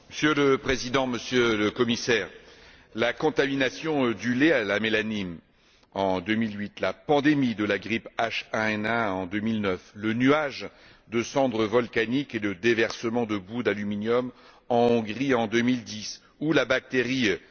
Monsieur le Président, Monsieur le Commissaire, la contamination du lait à la mélamine, en 2008, la pandémie de la grippe H1N1, en 2009, le nuage de cendres volcaniques et le déversement de boues d'aluminium en Hongrie, en 2010, ou la bactérie E.